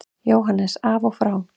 JÓHANNES: Af og frá!